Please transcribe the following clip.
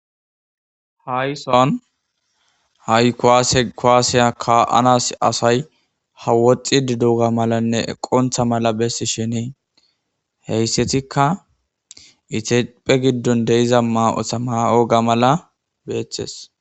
Hayssan hay kuwaasiya kuwaasiya ka7anaas asay ha woxxiddi doogaa malanne eqonththa mala bessishiini heyssethikka ithiphphe giddon de7iza maa7osa maa7oogaa mala beeththes.